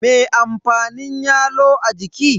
Me amfanin yalo a jiki?